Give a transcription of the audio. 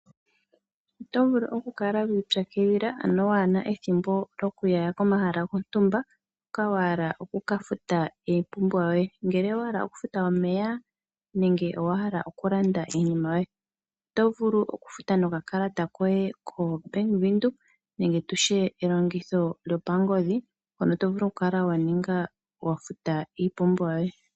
Oto vulu okukala wi ipyakidhila ano waa na ethimbo lyoku ya komahala gontumba hoka wa hala oku ka futa iipumbiwa yoye. Ngele owa hala okufuta omeya nenge owa hala okulanda iipumbiwa yoye, oto vulu okufuta nokakalata koye kaNedbank nenge tu tye elongitho lyopangodhi hono to vulu okula wa futa iipumbiwa yoye.